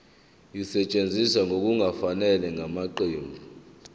esetshenziswe ngokungafanele ngamaqembu